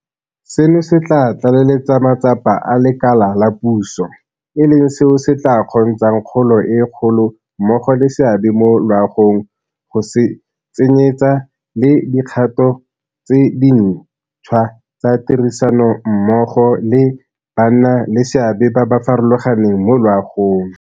Seno se tla tlaleletsa matsapa a lekala la puso, e leng seo se tla kgontshang kgolo e kgolo mmogo le seabe mo loagong go tsenyeetsa le dikgato tse dintšhwa tsa tirisanommogo le bannaleseabe ba ba farologaneng mo loagong.